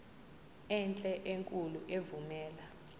enhle enkulu evumela